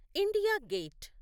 India gate